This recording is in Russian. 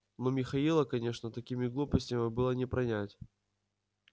но михаила конечно такими глупостями было не пронять